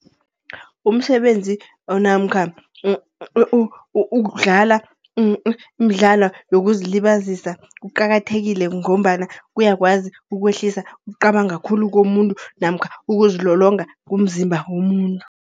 Umsebenzi namkha ukudlala umdlala wokuzilibazisa kuqakathekile, ngombana kuyakwazi ukwehlisa, ukucabanga khulu komuntu. Namkha ukuzilolonga komzimba womuntu.